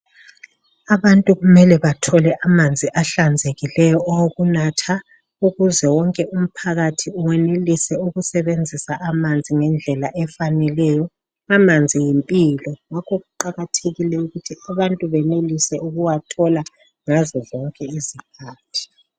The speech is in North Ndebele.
Abantu kumele bathole amanzi ahlanzekileyo awokunatha ukuze wonke umphakathi wenelise ukusebenzisa amanzi ngendlela efaneleyo. Amanzi yimpilo ngakho kuqakathekile ukuthi abantu benelise ukuwathola ngazo zonke izikhathi.